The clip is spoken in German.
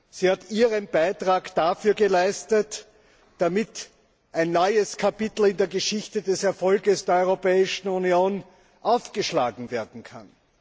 Sie hat ihren Beitrag dazu geleistet, dass ein neues Kapitel in der Geschichte des Erfolgs der Europäischen Union aufgeschlagen werden kann.